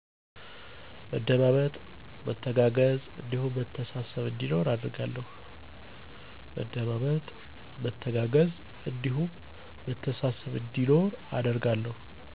መደማመጥ፣ መተጋገዝ እንዲሁም መተሳሰብ እንዲኖር አደርጋለሁ።